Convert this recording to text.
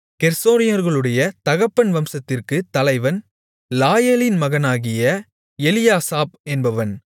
கெர்சோனியர்களுடைய தகப்பன் வம்சத்திற்குத் தலைவன் லாயேலின் மகனாகிய எலியாசாப் என்பவன்